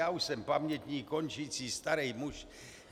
Já už jsem pamětník, končící starý muž.